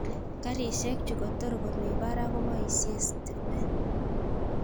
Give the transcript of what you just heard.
Karisiek chu kotorkomii parak koboisie stimet.